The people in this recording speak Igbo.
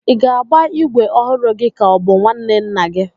Ị ga-agba ígwè ọhụrụ gị ka ọ hụ nwanne nna gị?